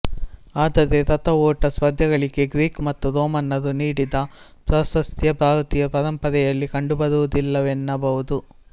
ಆದರೆ ರಥ ಓಟ ಸ್ಪರ್ಧೆಗಳಿಗೆ ಗ್ರೀಕ್ ಮತ್ತು ರೋಮನ್ನರು ನೀಡಿದ ಪ್ರಾಶಸ್ತ್ಯ ಭಾರತೀಯ ಪರಂಪರೆಯಲ್ಲಿ ಕಂಡುಬರುವುದಿಲ್ಲವೆನ್ನಬಹುದು